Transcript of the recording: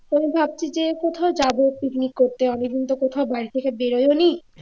আমি ভাবছি যে কোথাও যাবো picnic করতে অনেকদিন তো কোথাও বাড়ি থেকে বেরও হইনি